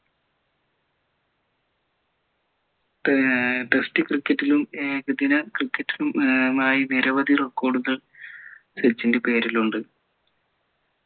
ഏർ test cricket ലും ഏകദിന cricket ലും ഏർ ആയി നിരവധി record കൾ സച്ചിൻ്റെ പേരിലുണ്ട്